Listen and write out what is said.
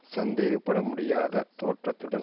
சந்தேகப்பட முடியாத தோற்றத்துடனும்